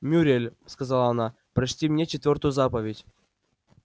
мюриель сказала она прочти мне четвёртую заповедь